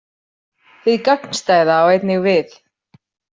Hið gagnstæða á einnig við.